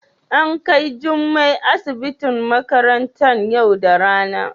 a An Kai jummai asibitin makarantan yau da rana.